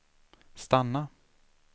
stanna